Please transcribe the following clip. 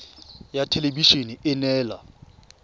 ya thelebi ene e neela